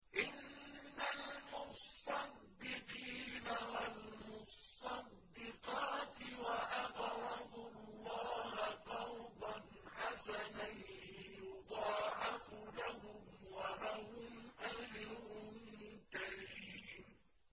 إِنَّ الْمُصَّدِّقِينَ وَالْمُصَّدِّقَاتِ وَأَقْرَضُوا اللَّهَ قَرْضًا حَسَنًا يُضَاعَفُ لَهُمْ وَلَهُمْ أَجْرٌ كَرِيمٌ